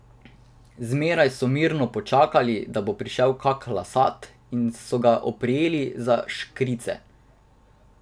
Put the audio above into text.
Zmeraj so mirno počakali, da bo prišel kak lasat, in se ga oprijeli za škrice.